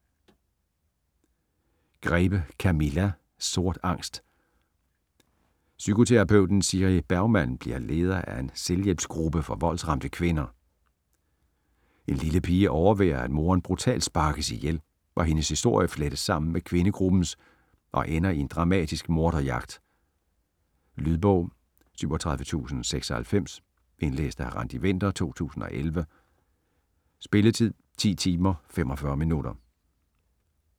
Grebe, Camilla: Sort angst Psykoterapeuten Siri Bergman bliver leder af en selvhjælpsgruppe for voldsramte kvinder. En lille pige overværer, at moderen brutalt sparkes ihjel, og hendes historie flettes sammen med kvindegruppens og ender i en dramatisk morderjagt. Lydbog 37096 Indlæst af Randi Winther, 2011. Spilletid: 10 timer, 45 minutter.